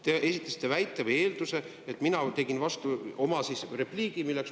Te esitasite väite, et mina tegin vasturepliigi, milleks mul kodukorraseaduse järgi on õigus.